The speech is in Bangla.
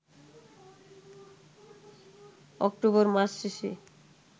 অক্টোবর মাস শেষে